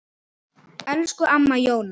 Elsku amma Jóna.